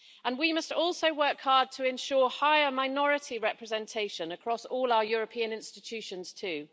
We must also work hard to ensure higher minority representation across all our European institutions too.